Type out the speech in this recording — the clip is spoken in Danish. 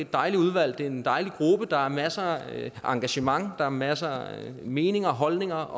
dejligt udvalg det er en dejlig gruppe der er masser af engagement der er masser af meninger holdninger